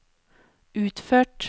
utført